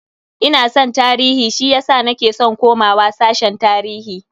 Ina san tarihi shiyasa nake san komawa sashen tarihi.